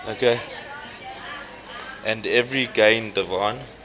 and every gain divine